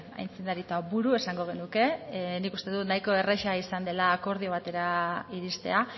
aitzindari eta buru esango genuke nik uste dut nahiko erraza izan dela akordio batetara iristea